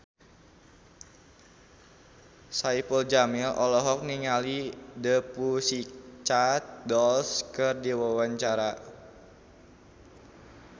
Saipul Jamil olohok ningali The Pussycat Dolls keur diwawancara